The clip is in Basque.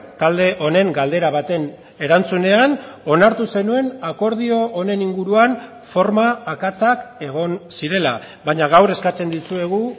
talde honen galdera baten erantzunean onartu zenuen akordio honen inguruan forma akatsak egon zirela baina gaur eskatzen dizuegu